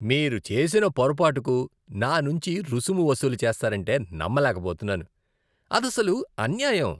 మీరు చేసిన పొరపాటుకు నా నుంచి రుసుము వసూలు చేస్తారంటే నమ్మలేకపోతున్నాను. అదసలు అన్యాయం.